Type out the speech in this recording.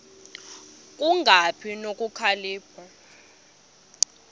ku kungabi nokhalipho